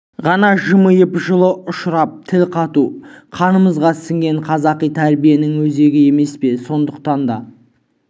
ғана жымиып жылы ұшырап тіл қату қанымызға сіңген қазақи тәрбиенің өзегі емес пе сондықтан да